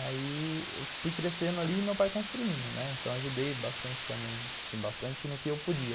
Aí eu fui crescendo ali e meu pai construindo, né, então eu ajudei bastante também, assim, bastante no que eu podia.